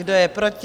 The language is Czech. Kdo je proti?